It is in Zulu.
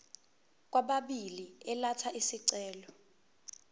kwababili elatha isicelo